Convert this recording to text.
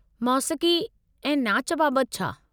मोसीक़ी ऐं नाच बाबत छा?